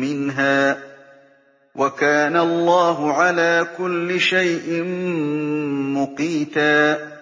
مِّنْهَا ۗ وَكَانَ اللَّهُ عَلَىٰ كُلِّ شَيْءٍ مُّقِيتًا